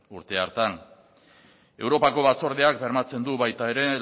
urte hartan europako batzordeak bermatzen du baita ere